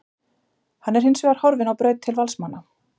Hann er hinsvegar horfinn á braut til Valsmanna.